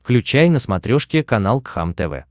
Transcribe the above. включай на смотрешке канал кхлм тв